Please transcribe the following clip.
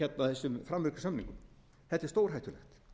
þessum framvirku samningum þetta er stórhættulegt